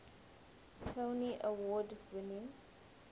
tony award winning